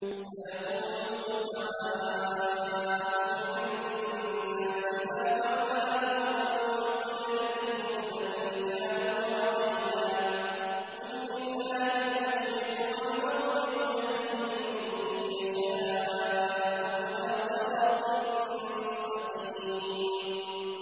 ۞ سَيَقُولُ السُّفَهَاءُ مِنَ النَّاسِ مَا وَلَّاهُمْ عَن قِبْلَتِهِمُ الَّتِي كَانُوا عَلَيْهَا ۚ قُل لِّلَّهِ الْمَشْرِقُ وَالْمَغْرِبُ ۚ يَهْدِي مَن يَشَاءُ إِلَىٰ صِرَاطٍ مُّسْتَقِيمٍ